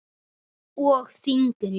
Og þyngri.